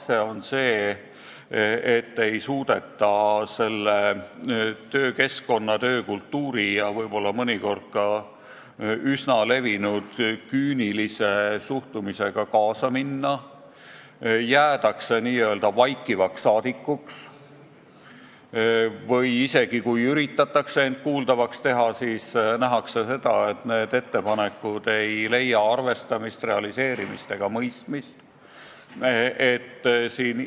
Kas see on see, et ei suudeta selle töökeskkonna, töökultuuri ja võib-olla ka üsna levinud küünilise suhtumisega kaasa minna, jäädakse n-ö vaikivaks saadikuks või isegi kui üritatakse end kuuldavaks teha, siis nähakse seda, et ettepanekud ei leia arvestamist, realiseerimist ega mõistmist?